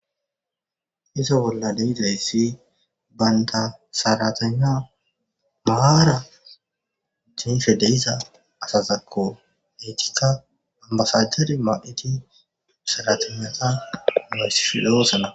Izo bolla leizayssi baynta saratana maaara jiife deiza asazakko eytikka ambasajeri ma'iti saratanata moyssi fidho oosana.